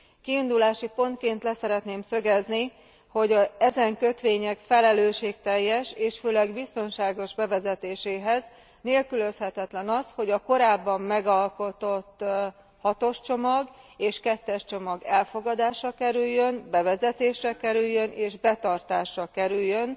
Kiindulási pontként le szeretném szögezni, hogy ezen kötvények felelősségteljes és főleg biztonságos bevezetéséhez nélkülözhetetlen, hogy a korábban megalkotott 6 os csomag és 2 es csomag elfogadásra kerüljön, bevezetésre kerüljön és betartásra kerüljön